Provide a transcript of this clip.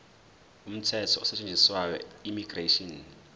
umthetho osetshenziswayo immigration